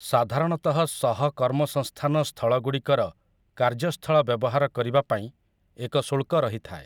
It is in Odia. ସାଧାରଣତଃ ସହକର୍ମସଂସ୍ଥାନ ସ୍ଥଳଗୁଡ଼ିକର କାର୍ଯ୍ୟସ୍ଥଳ ବ୍ୟବହାର କରିବା ପାଇଁ ଏକ ଶୁଳ୍କ ରହିଥାଏ ।